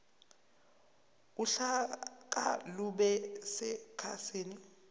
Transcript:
uhlaka lube sekhasini